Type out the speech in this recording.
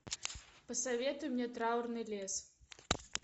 посоветуй мне траурный лес